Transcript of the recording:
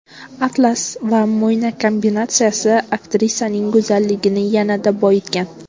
Atlas va mo‘yna kombinatsiyasi aktrisaning go‘zalligini yanada boyitgan.